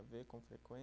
Vê com